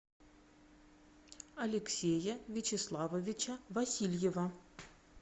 алексея вячеславовича васильева